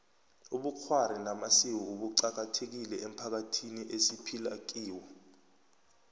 ubukghwari namasiko buqakathekile emphakathini esiphila kiwo